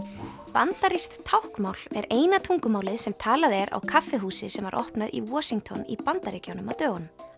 bandarískt táknmál er eina tungumálið sem talað er á kaffihúsi sem var opnað í Washington í Bandaríkjunum á dögunum